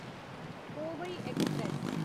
Kovai express